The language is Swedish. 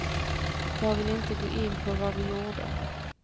Jag vill inte gå in på vad vi gjorde.